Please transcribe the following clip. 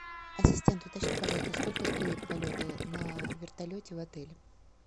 ассистент уточни пожалуйста сколько стоят полеты на вертолете в отеле